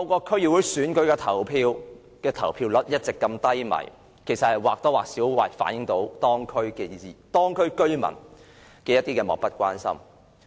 區議會選舉的投票率一直如此低，或多或少反映地區居民漠不關心。